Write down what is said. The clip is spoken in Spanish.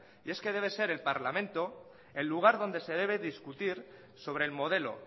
y es que debe ser el parlamento el lugar donde se debe discutir sobre el modelo